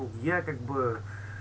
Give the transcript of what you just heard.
я как бы